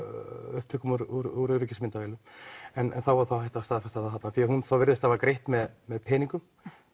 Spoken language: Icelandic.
upptökum úr öryggismyndavélum en þá er hægt að staðfesta það þarna því hún virðist hafa greitt með með peningum